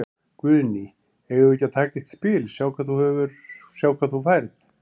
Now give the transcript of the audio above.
Guðný: Eigum við ekki að taka eitt spil, sjá hvað þú færð?